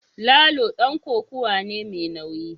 Lalo dan kokawa ne mai nauyi